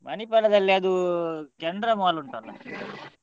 ಮಣಿಪಾಲದಲ್ಲಿ ಅದೂ canara mall ಉಂಟಲ್ಲ.